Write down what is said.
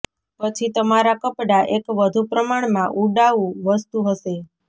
પછી તમારા કપડા એક વધુ પ્રમાણમાં ઉડાઉ વસ્તુ હશે